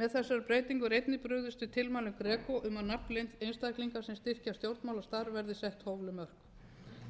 með þessari breytingu er einnig brugðist við tilmælum greco um að nafnleynd einstaklinga sem styrkja stjórnmálastarf verði sett hófleg mörk